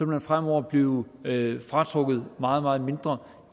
man fremover blive fratrukket meget meget mindre